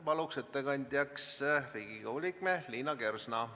Palun ettekandjaks Riigikogu liikme Liina Kersna.